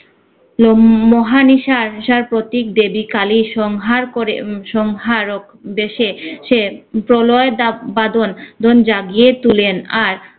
লম~ মহানিশার আসার প্রতীক দেবী কালির সংহার করে উম সংহার ও উদ্দেশ্যে সে প্রলয় দা~ বাঁধন বাঁধন জাগিয়ে তুলেন আর